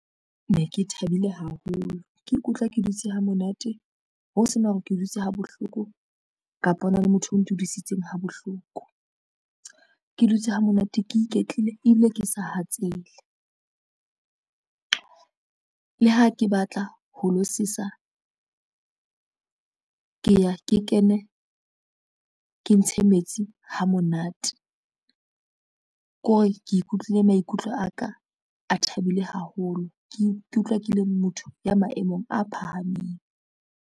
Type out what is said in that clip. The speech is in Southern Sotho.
Ne ke thabile haholo, ke ikutlwa ke dutse ha monate ho sena hore ke dutse ha bohloko kapa hona le motho o ntudisitseng ha bohloko. Ke dutse ha monate, ke iketlile ebile ke sa hatsele. Le ha ke batla ho lo sesa ke ya ke kene, ke ntshe metsi ha monate, ko re ke ikutlwile maikutlo aka a thabile, ke ikutlwa ke le motho ya maemong a phahameng.